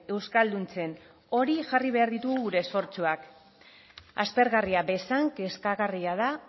euskalduntzen hori jarri behar ditu gure esfortzuak aspergarria bezain kezkagarria da